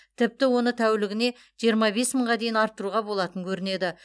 тіпті оны тәулігіне жиырма бес мыңға дейін арттыруға болатын көрінеді